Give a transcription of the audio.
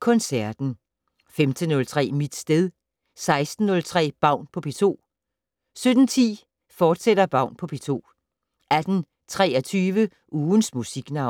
Koncerten * 15:03: Mit sted 16:03: Baun på P2 17:10: Baun på P2, fortsat 18:23: Ugens Musiknavn